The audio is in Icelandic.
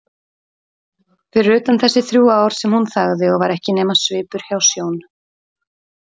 Fyrir utan þessi þrjú ár sem hún þagði og var ekki nema svipur hjá sjón.